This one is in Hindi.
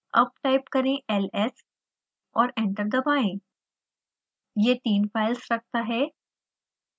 अब टाइप करें ls एंटर दबाएं यह तीन फाइल्स रखता है